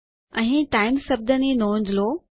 અહીં ટાઇમ્સ શબ્દ ની નોંધ લો